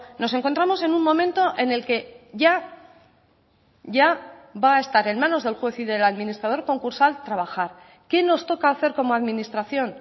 nos encontramos en un momento en el que ya va a estar en manos del juez y del administrador concursal trabajar qué nos toca hacer como administración